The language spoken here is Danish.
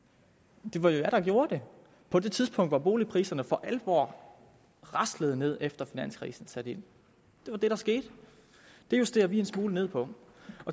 det var jo venstre der gjorde det på det tidspunkt hvor boligpriserne for alvor raslede ned efter at finanskrisen satte ind det var det der skete det justerer vi en smule ned på